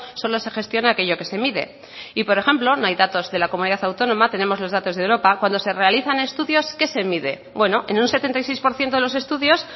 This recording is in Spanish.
solo se gestiona aquello que se mide y por ejemplo no hay datos de la comunidad autónoma tenemos los datos de europa cuando se realizan estudios qué se mide bueno en un setenta y seis por ciento de los estudios